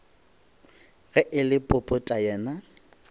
ge e le popota yena